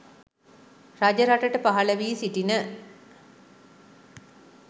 රජරටට පහළවී සිටින